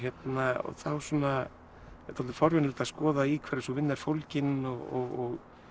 þá er dálítið forvitnilegt að skoða í hverju sú vinna er fólgin og